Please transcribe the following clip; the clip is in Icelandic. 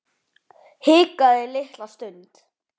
Hikaði litla stund.